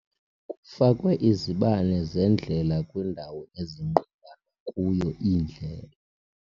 Kufakwe izibane zendlela kwindawo ezinqumlana kuyo iindlela.